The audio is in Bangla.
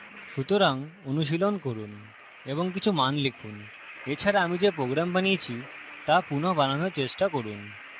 সুতরাং অনুশীলন করুন এবং কিছু মান লিখুন এছাড়া আমি যে program বানিয়েছি so পুনঃ বানানোর চেষ্টা করুন